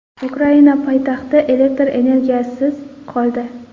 Ukraina poytaxti elektr energiyasiz qoldi.